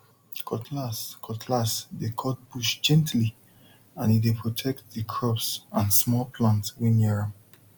cutlass cutlass dey cut bush gently and e dey protect the crops and small plants wey near am